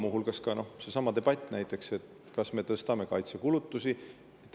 Muu hulgas näiteks seesama debatt, kas me tõstame kaitsekulutusi.